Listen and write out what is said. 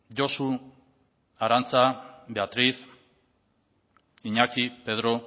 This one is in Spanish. josu arantxa beatriz iñaki pedro